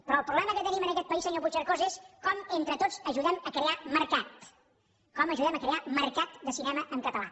però el problema que tenim en aquest país senyor puigcercós és com entre tots ajudem a crear mercat com ajudem a crear mercat de cinema en català